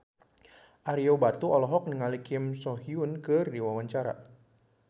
Ario Batu olohok ningali Kim So Hyun keur diwawancara